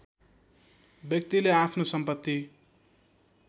व्यक्तिले आफ्नो सम्पत्ति